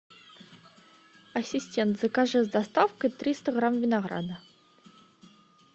ассистент закажи с доставкой триста грамм винограда